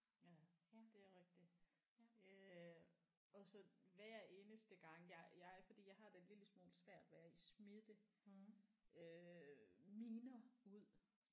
Ja det er rigtigt øh og så hver eneste gang jeg jeg fordi jeg har det en lille smule svært ved at smide minder ud